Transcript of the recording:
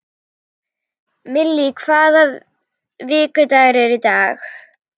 Millý, hvaða vikudagur er í dag?